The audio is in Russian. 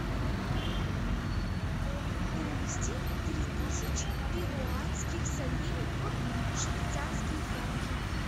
перевести три тысяч перуанских солей в швейцарские франки